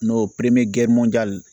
N'o